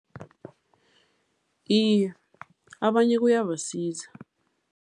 Iye, abanye kuyabasiza.